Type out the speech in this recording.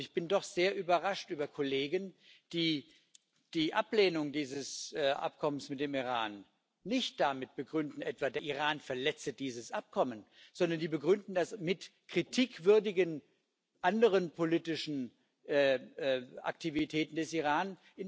Ich bin doch sehr überrascht über Kollegen, die die Ablehnung dieses Abkommens mit dem Iran nicht etwa damit begründen, der Iran verletze dieses Abkommen, sondern sie begründen das mit anderen kritikwürdigen politischen Aktivitäten des Iran.